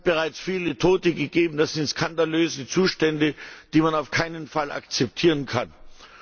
Es hat bereits viele Tote gegeben. Das sind skandalöse Zustände, die man auf keinen Fall akzeptieren darf!